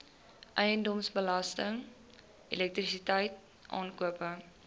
eiendomsbelasting elektrisiteit aankope